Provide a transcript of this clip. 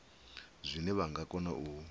zwine vha nga kona u